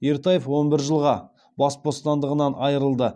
ертаев он бір жылға бас бостандығынан айырылды